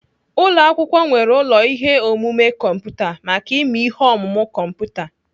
Ụlọakwụkwọ nwere ụlọ ihe omume kọmputa maka ịmụ ihe ọmụmụ kọmputa.